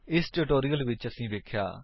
ਇਸ ਟਿਊਟੋਰਿਅਲ ਵਿੱਚ ਅਸੀਂ ਵੇਖਿਆ